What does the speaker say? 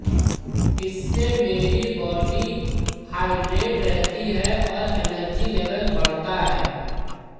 इससे मेरी body hydrate रहती हैै और एनर्जी लेवल बढ़ता है